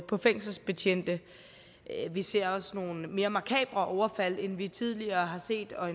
på fængselsbetjente vi ser også nogle mere makabre overfald end vi tidligere har set og